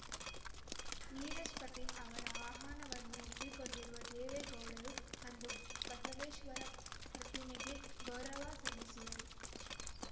ನೀರಜ್‌ ಪಾಟೀಲ್‌ ಅವರ ಆಹ್ವಾನವನ್ನು ಒಪ್ಪಿಕೊಂಡಿರುವ ದೇವೇಗೌಡರು ಅಂದು ಬಸವೇಶ್ವರ ಪ್ರತಿಮೆಗೆ ಗೌರವ ಸಲ್ಲಿಸುವರು